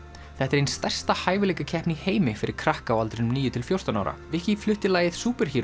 þetta er ein stærsta hæfileikakeppni í heimi fyrir krakka á aldrinum níu til fjórtán ára viki flutti lagið